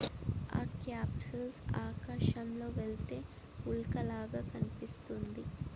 ఆ క్యాప్సూల్ ఆకాశంలో వెళ్ళే ఉల్క లాగా కనిపిస్తుంది